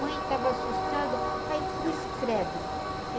estava assustada, aí cruz credo.